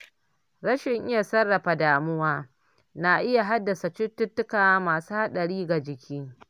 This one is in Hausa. Rashin iya sarrafa damuwa na iya haddasa cututtuka masu haɗari ga jiki.